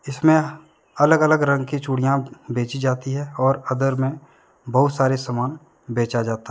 इसमें अलग अलग रंग की चूड़ियां बेची जाती हैं और अदर में बहुत सारे सामान बेचा जाता है।